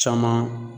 Caman